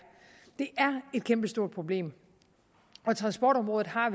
et kæmpestort problem og transportområdet har